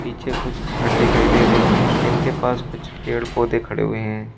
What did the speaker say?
पीछे कुछ घर दिखाई दे रहे हैं जिनके पास कुछ पेड़ पौधे खड़े हुए हैं।